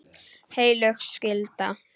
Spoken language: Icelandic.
Heilög skylda.